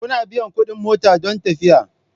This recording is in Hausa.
Kuna biyan kuɗin mota don tafiya.